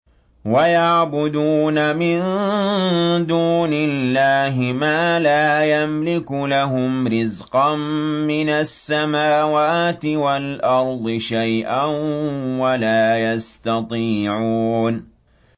وَيَعْبُدُونَ مِن دُونِ اللَّهِ مَا لَا يَمْلِكُ لَهُمْ رِزْقًا مِّنَ السَّمَاوَاتِ وَالْأَرْضِ شَيْئًا وَلَا يَسْتَطِيعُونَ